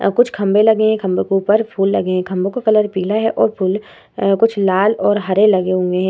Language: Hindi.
अ कुछ खम्बे लगे हैं खम्बे के ऊपर फुल लगे हैं खम्बो का कलर पीला है और फूल अ कुछ लाल और हरे लगे हुए है ।